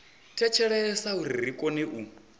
thetshelesa uri ri kone u